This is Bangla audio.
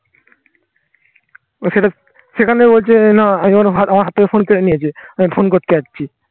সেটা সেখানে বলছে না. আমি বললাম আমার হাত থেকে ফোন কেড়ে নিয়েছে. আমি ফোন করতে যাচ্ছি